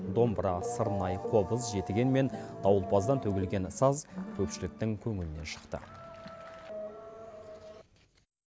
домбыра сырнай қобыз жетіген мен дауылпаздан төгілген саз көпшіліктің көңілінен шықты